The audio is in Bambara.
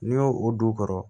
N'i y'o o du kɔrɔ